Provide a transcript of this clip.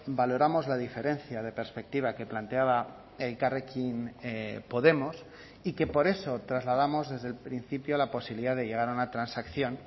valoramos la diferencia de perspectiva que planteaba elkarrekin podemos y que por eso trasladamos desde el principio la posibilidad de llegar a una transacción